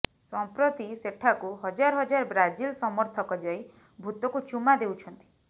ସଂପ୍ରତି ସେଠାକୁୁ ହଜାର ହଜାର ବ୍ରାଜିଲ ସମର୍ଥକ ଯାଇ ଭୂତକୁ ଚୁମା ଦେଉଛନ୍ତି